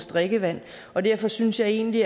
drikkevandet og derfor synes jeg egentlig